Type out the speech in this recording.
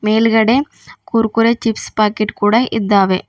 ಮೇಲ್ಗಡೆ Kurkure chips packet ಕೂಡ ಇದ್ದಾವೆ.